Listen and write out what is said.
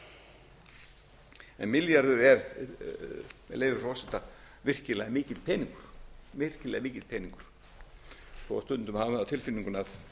tveggja en milljarður er með leyfi frú forseta virkilega mikill peningur virkilega mikill peningur þó stundum hafi maður það á tilfinningunni að